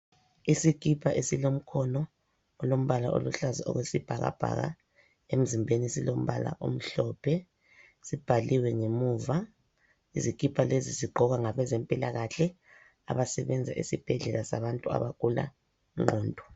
Isikipa esilomkhono olombala oluhlaza okwesibhakabhaka, emzimbeni silombala omhlophe sibhaliwe ngemuva. Izikipa lezi zigqokwa ngabe zempilakahle abasebenza esibhedlela sabantu abagula ingqondo.